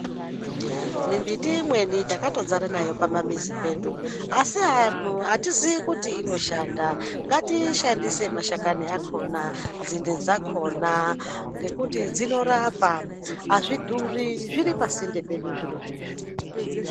Mimbiti imweni takatozara nayo pamamizi pedu asi anhu atizii kuti inoshanda .Ngatiishandise mashakani akona ,nzinde dzakona ngekuti dzinorapa. Azvidhuri zviri pasinde pedu zvirozvo izvi.